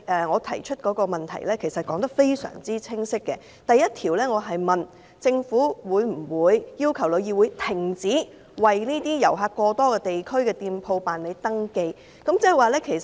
我提出的質詢非常清晰，第一部分詢問政府會否要求旅議會停止為遊客過多地區的店鋪辦理登記。